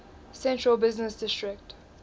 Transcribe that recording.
central business district